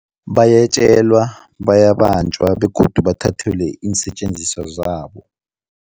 Bayetjelwa, bayabanjwa begodu bathathelwe iinsetjenziswa zabo.